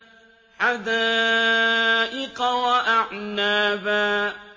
حَدَائِقَ وَأَعْنَابًا